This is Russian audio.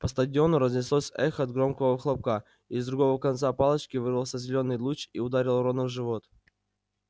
по стадиону разнеслось эхо от громкого хлопка из другого конца палочки вырвался зелёный луч и ударил рона в живот